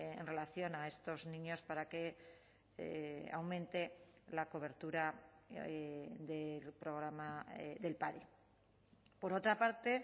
en relación a estos niños para que aumente la cobertura del programa del padi por otra parte